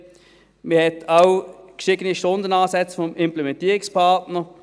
Man hat auch gestiegene Stundenansätze des Implementierungspartners.